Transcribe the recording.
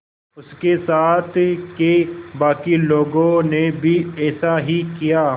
उसके साथ के बाकी लोगों ने भी ऐसा ही किया